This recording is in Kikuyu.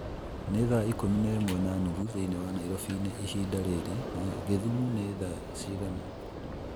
nĩ thaa ikũmi na ĩmwe na nuthu thĩinĩ wa Nairobi-inĩ ihinda rĩrĩ, na githumu ni thaa cigana